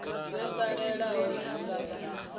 yo salelaho i nga vha